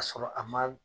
Ka sɔrɔ a ma